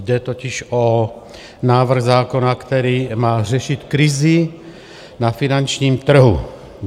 Jde totiž o návrh zákona, který má řešit krizi na finančním trhu.